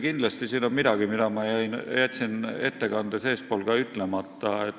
Kindlasti siin on midagi, mille ma jätsin ettekandes eespool ka ütlemata.